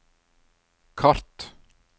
kart